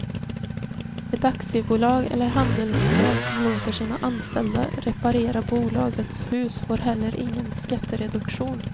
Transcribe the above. Ett aktiebolag eller handelsbolag som låter sina anställda reparera bolagets hus får heller ingen skattereduktion.